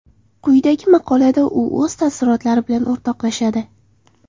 Quyidagi maqolada u o‘z taassurotlari bilan o‘rtoqlashadi.